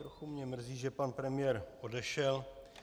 Trochu mě mrzí, že pan premiér odešel.